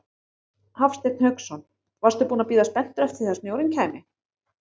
Hafsteinn Hauksson: Varstu búinn að bíða spenntur eftir því að snjórinn kæmi?